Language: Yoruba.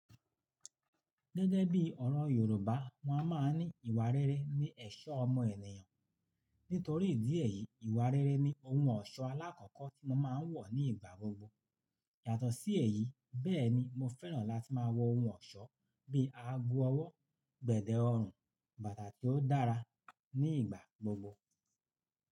Gẹ́gẹ́ bí ọ̀rọ̀ Yorùbá, wọn máa ń ní ìwà rere ní ẹ̀ṣọ́ ọmọ ènìyàn. Nítorí ìdí èyí, ìwà rere ni ohun ọ̀ṣọ́ alákọ̀ọ́kọ́ tí mo máa ń wọ̀ nígbà gbogbo. Yàtọ̀ sí èyí, bẹ́ẹ̀ ni mo fẹ́ràn láti máa wọ ohun ọ̀ṣọ́ bí ààgò ọwọ́, gbẹ̀dẹ ọrùn, bàtà tí ó dára ní ìgbà gbogbo.